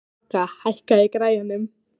Manga, hækkaðu í græjunum.